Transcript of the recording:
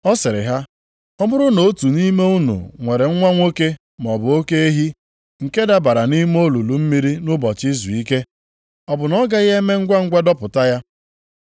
Ọ sịrị ha, “Ọ bụrụ na otu nʼime unu nwere nwa nwoke maọbụ oke ehi nke dabara nʼime olulu mmiri nʼụbọchị izuike, ọ bụ na ọ gaghị eme ngwangwa dọpụta ya?”